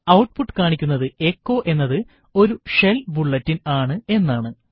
output കാണിക്കുന്നത് echo എന്നത് ഒരു ഷെൽ ബുള്ളറ്റിൻ ആണ് എന്നാണ്